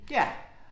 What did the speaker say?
Ja